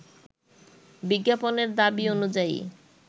বিজ্ঞাপনের দাবি অনুযায়ী